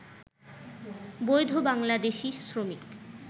বৈধ বাংলাদেশি শ্রমিক